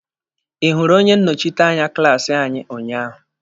Ị hụrụ onye nnọchiteanya klaasi anyị unyaahụ?